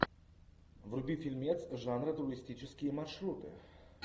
вруби фильмец жанра туристические маршруты